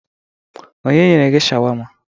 Onye nyere gi shawama?